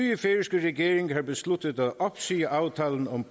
nye færøske regering har besluttet at opsige aftalen om